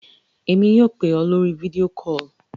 Èmi yóò pè ọ́ lórí video call.